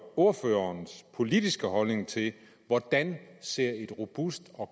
ordførerens politiske holdning til hvordan ser et robust og